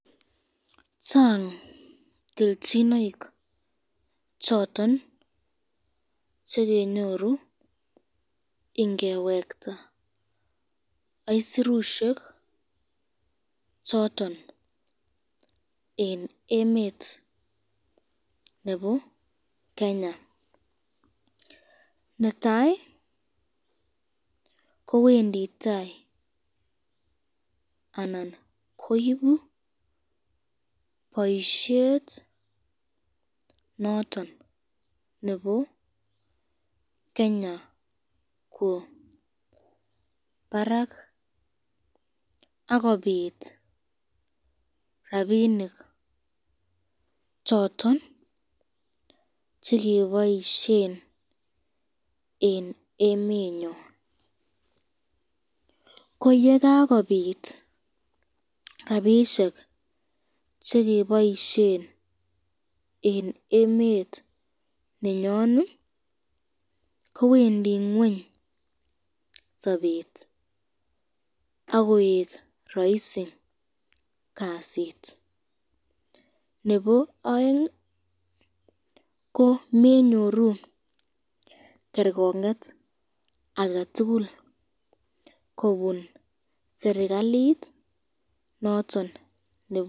Chang kelchinoik choton chekenyoru ingewekta isurushek choton eng emet neebo Kenya ,netai kowendi tai anan koibi boisyet noton nebo Kenya kwo Barak akobit rapinik choton chekeboisyen eng emenyon, ko yekakobit rapishek chekeboisyen eng emet nenyon kowendi ngweny sabet akoek raisi kasit, nebo aeng ko menyoru kerkonget aketukul kobun srikalit noton nebo Kenya.